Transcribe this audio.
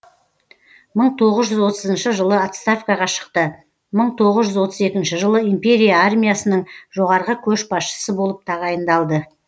мың тоғыз жүз отызыншы жылы отставкаға шықты мың тоғыз жүз отыз екінші жылы империя армиясының жоғарғы көшбасшысы болып тағайындалды